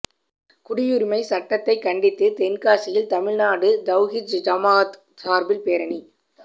குடியுரிமை சட்டத்தைக் கண்டித்து தென்காசியில் தமிழ்நாடு தவ்ஹீத் ஜமாஅத் சார்பில் பேரணி